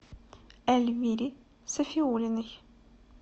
эльвире сафиуллиной